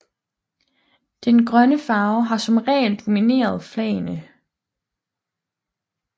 Den grønne farve har som regel domineret flagene